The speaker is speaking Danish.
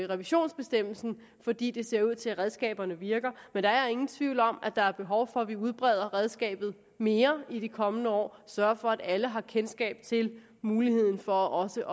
revisionsbestemmelsen fordi det ser ud til at redskaberne virker men der er ingen tvivl om at der er behov for at vi udbreder redskabet mere i de kommende år og sørger for at alle har kendskab til muligheden for også